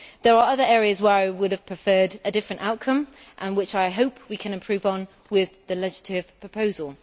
There are other areas where I would have preferred a different outcome and which I hope we can improve on with the legislative proposal.